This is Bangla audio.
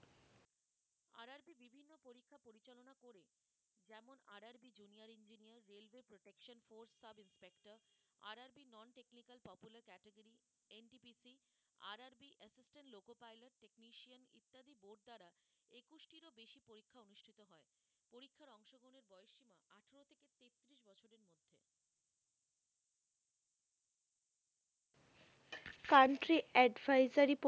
Country advisory